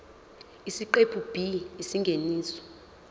isiqephu b isingeniso